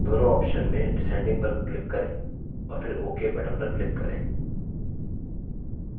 दोनों options में descending पर click करें और फिर ok button पर click करें